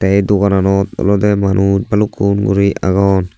ey dogananot olodey manus balukun guri agon.